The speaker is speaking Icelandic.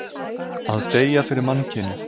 Að deyja fyrir mannkynið.